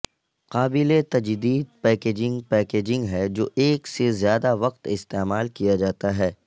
قابل تجدید packaging packaging ہے جو ایک سے زیادہ وقت استعمال کیا جاتا ہے